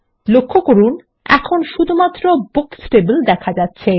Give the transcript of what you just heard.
লক্ষ্য করুন এখন শুধুমাত্র বুকস টেবিল দেখা যাচ্ছে